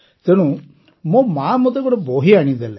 ତେଣୁ ମୋ ମାଆ ମୋତେ ଗୋଟିଏ ବହି ଆଣିଦେଲେ